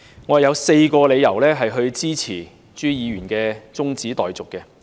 我有4個理由支持朱議員的中止待續議案。